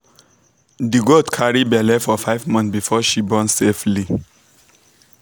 the goat carry belle for five months before she born safely.